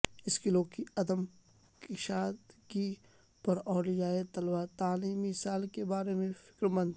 اسکولوں کی عدم کشادگی پر اولیائے طلبہ تعلیمی سال کے بارے میں فکرمند